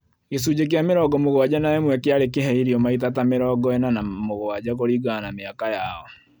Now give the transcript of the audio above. Gĩcunjĩ kĩa mĩrongo mũgwanja na ĩmwe kĩarĩ kĩhe irio maita ta mĩrongo ĩna na mũgwanja kũringana na mĩaka yao